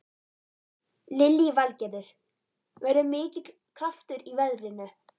Lillý Valgerður: Verður mikill kraftur í veðrinu?